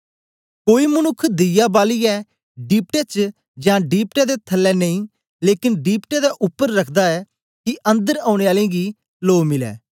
कोई मनुक्ख दीया बालियै डीपटे च यां दीपटे दे थलै नेई लेकन दीपटे दे उपर रखदा ऐ कि अंदर औने आलें गी लो मिलै